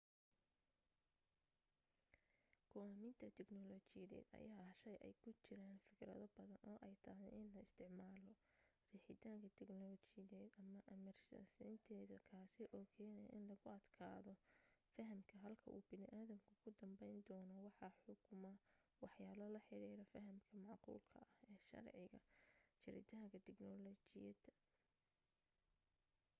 go'aaminta tignolajiyadeed ayaa ah shay ay ku jiraan firkado badan oo ay tahay in la isticmaalo riixitaanka tignolajideed ama amarsiinteeda kaasi oo kenaya in lagu adkaado faham ah halka uu bani adamku ku danbayndoono waxaa xukuma waxyaalo la xidhiidha fahamka macquulka ah ee sharciga jiritaanka tignolayadda